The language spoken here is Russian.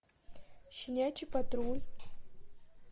щенячий патруль